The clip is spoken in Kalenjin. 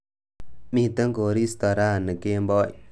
Miten koristo rani kemboi